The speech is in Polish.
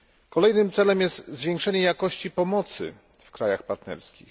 Kolejnym celem jest zwiększenie jakości pomocy w krajach partnerskich.